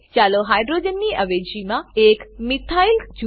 ચાલો હાઇડ્રોજનની અવેજીમાં એક મિથાઇલ મિથાઈલ જૂથ મુકીએ